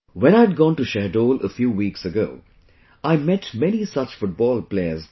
When I had gone to Shahdol a few weeks ago, I met many such football players there